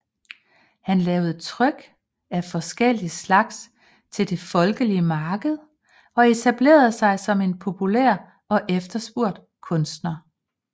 Han lavede tryk af forskellige slags til det folkelige marked og etablerede sig som en populært og efterspurgt kunstner